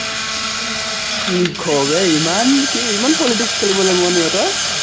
কি ক, ইমান কি politics খেলিবলে মন ইহঁতৰ।